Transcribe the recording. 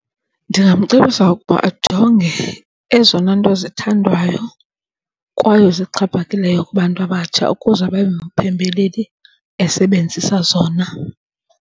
Ndingamcebisa ukuba ajonge ezona nto zithandwayo kwaye zixhaphakileyo kubantu abatsha ukuze abe ngumphembeleli esebenzisa zona.